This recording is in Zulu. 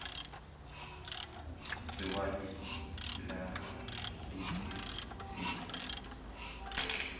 gciwane lalesi sifo